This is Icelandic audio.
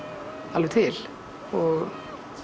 alveg til og